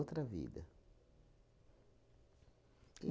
vida.